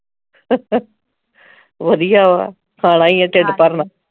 ਵਧੀਆ ਵਾ ਖਾਣਾ ਈ ਆ ਢਿੱਡ ਭਰ ਨਾ